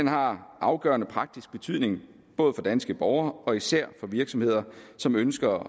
har afgørende praktisk betydning for danske borgere og især for virksomheder som ønsker